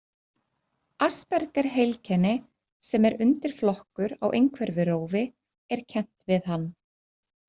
Aspergerheilkenni sem er undirflokkur á einhverfurófi er kennt við hann.